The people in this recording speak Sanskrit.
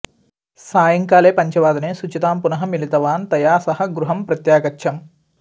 सायंकाले पञ्चवादने शुचितां पुनः मिलितवान् तया सह गृहं प्रत्यागच्छम्